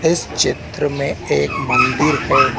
इस चित्र में एक मंदिर है।